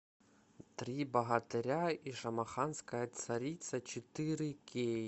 три богатыря и шамаханская царица четыре кей